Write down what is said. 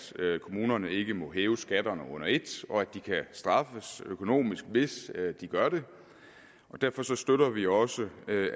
kommunerne ikke må hæve skatterne under et og at de kan straffes økonomisk hvis de gør det derfor støtter vi også